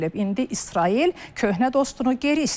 İndi İsrail köhnə dostunu geri istəyir.